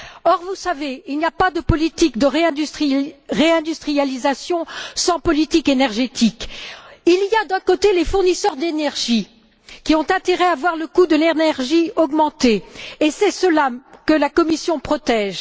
Or, vous le savez, il n'y a pas de politique de réindustrialisation sans politique énergétique. Il y a, d'un côté, les fournisseurs d'énergie, qui ont intérêt à voir le coût de l'énergie augmenter, et c'est eux que la Commission protège.